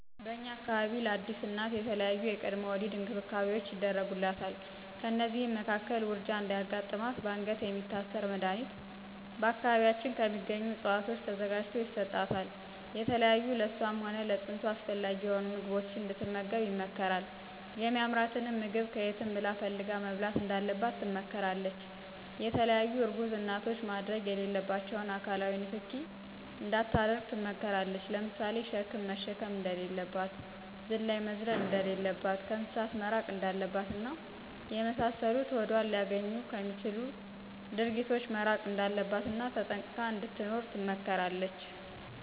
በእኛ አካባቢ ለአዲስ እናት የተለያዪ የቅድመ ወሊድ እንክብካቤዎች ይደረጉላታል። ከእነዚህም መካከል ውርጃ እንዳያጋጥማትበአንገት የሚታሰር መድኀኒት በአካባቢያችን ከሚገኙ እፅዋቶች ተዘጋጅቶ ይሰጣታል፣ የተለያዩ ለእሷም ሆነ ለፅንሱ አስፈላጊ የሆኑ ምግቦችን እንድትመገብ ይመከራል የሚአምራትንም ምግብ ከየትም ብላ ፈልጋ መብላት እንዳለባት ትመከራለች፣ የተለያዪ እርጉዝ እናቶች ማድረግ የሌለባቸውን አካላዊ ንክኪ እንዳታደርግ ትመከራለች ለምሳሌ ሸክም መሸከም እንደሌለባት፣ ዝላይ መዝለል እንደለለባት፣ ከእንስሳት መራቅ እንዳለባት እና የመሳሰሉትን ሆዷን ሊአገኙ ምክትል ግጅ ድርጊቶች መራቅ እንዳለባት እና ተጠንቅቃ እንድትኖር ትመከራለች።